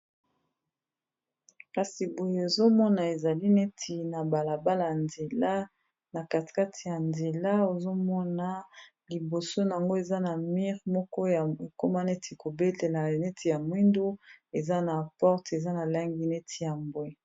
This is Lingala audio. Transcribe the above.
Kasi boye ozomona ezali neti na balabala ya nzela na katekate ya nzela ozomona liboso nango eza na mur moko ya ekoma neti kobelela neti ya mwindo eza na porte eza na langi neti ya mbwe.